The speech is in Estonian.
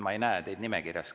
Ma ei näe teid nimekirjas.